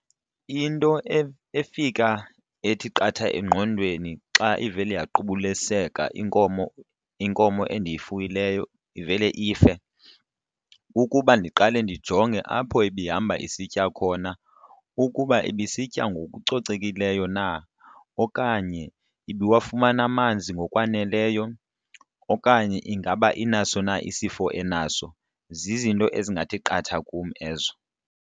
Into efika ethi qatha engqondweni xa ivele yaqubuliseka inkomo inkomo endiyifuyileyo ivele ife kukuba ndiqale ndijonge apho ibihamba isitya khona. Ukuba ibisitya ngokucocekileyo na okanye ibiwafumane amanzi ngokwaneleyo okanye ingaba inaso na isifo enaso. Zizinto ezingathi qatha kum ezo.